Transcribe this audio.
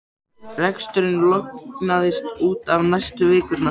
Reksturinn lognaðist út af næstu vikurnar.